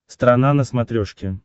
страна на смотрешке